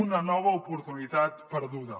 una nova oportunitat perduda